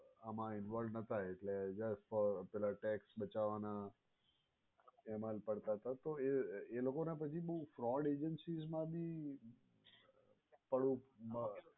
આમાં involved ન હતા એટલે just for tax બચાવાના એમા જ પડતાં હતા તો એ લોકોના પછી બોવ fraud agencies મા ભી પડવું ના